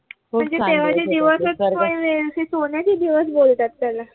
म्हणजे तेव्हाचे दिवसच काही सोन्याचे दिवसच बोलतात त्याला